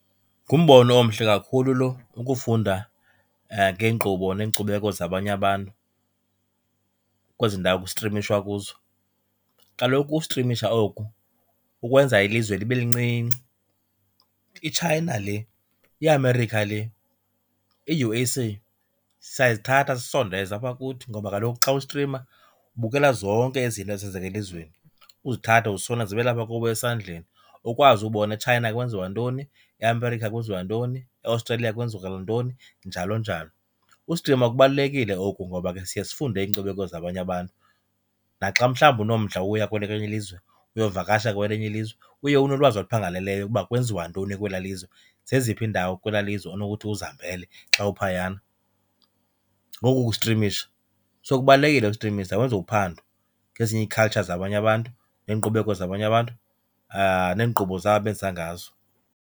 Ngumbono omhle kakhulu loo, ukufunda ngeenkqubo neenkcubeko zabanye abantu kwezindawo kustrimishwa kuzo. Kaloku ukustrimisha oku kukwenza ilizwe libe lincinci. IChina le, iAmerica le, i-U_S_A, siyazithatha sizisondeze apha kuthi ngoba kaloku xa ustrima ubukela zonke ezi nto zenzeka elizweni uzithathe uzisondeze zibe lapha kuwe esandleni. Ukwazi ubona eChina kwenziwa ntoni, eAmerica kwenziwa ntoni, eAustralia ntoni, njalo njalo. Ustrima kubalulekile oku ngoba ke siye sifunde iinkcubeko zabanye abantu, naxa mhlawumbi unomdla woya kwelinye ilizwe, uyovakasha kwelinye ilizwe, uye unolwazi oluphangaleleyo ukuba kwenziwa ntoni kwelaa lizwe, zeziphi iindawo kwelaa lizwe onokuthi uzihambele xa uphayana ngoku kustrimisha. So kubalulekile ustrimisha, wenze uphando ngezinye ii-culture zabanye abantu neenkqubeko zabanye abantu neenkqubo zabo abenza ngazo.